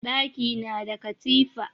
Ɗaki na da katifa